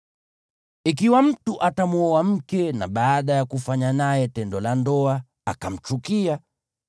Ikiwa mtu atamwoa mke na, baada ya kufanya naye tendo la ndoa, akamchukia,